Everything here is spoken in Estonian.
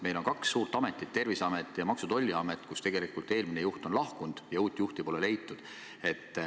Meil on kaks suurt ametit: Terviseamet ja Maksu- ja Tolliamet, kust eelmine juht on lahkunud ja uut juhti pole leitud.